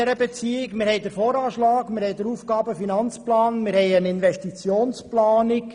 Wir haben den Voranschlag, den Aufgaben-/Finanzplan und eine Investitionsplanung.